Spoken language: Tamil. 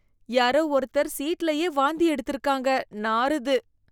யாரோ ஒருத்தர் சீட்லயே வாந்தி எடுத்திருக்காங்க, நாறுது.